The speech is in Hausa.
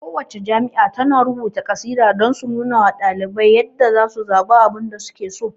Ku wacce jami'a tana rubuta kasida don su nunawa ɗalibai yadda zasu zaɓe abinda suke so